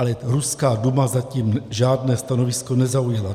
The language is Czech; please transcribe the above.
Ale ruská Duma zatím žádné stanovisko nezaujala.